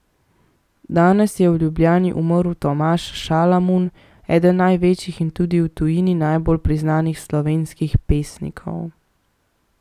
Danes je v Ljubljani umrl Tomaž Šalamun, eden največjih in tudi v tujini najbolj priznanih slovenskih pesnikov.